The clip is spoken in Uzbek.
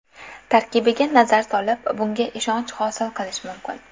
Tarkibiga nazar solib, bunga ishonch hosil qilish mumkin.